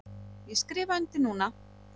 Ég skrifa undir núna.